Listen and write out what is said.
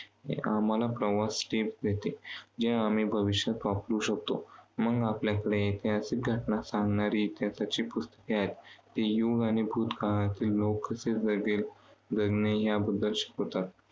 आम्हाला प्रवास देते. जे आम्ही भविष्यात वापरू शकतो. मग आपल्याकडे ऐतिहासिक घटना सांगणारी इतिहासाची पुस्तके आहेत. ती आणि भूतकाळातील लोक कसे वेगळे जगणे याबद्दल शिकवतात.